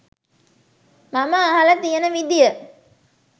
මම අහල තියන විදිය